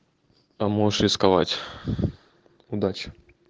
поможешь рисковать удачи